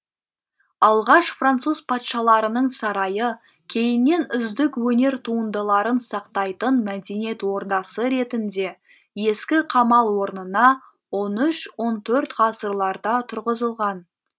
алғаш француз патшаларының сарайы кейіннен үздік өнер туындыларын сақтайтын мәдениет ордасы ретінде ескі қамал орнына он үш он төрт ғасырларда тұрғызылған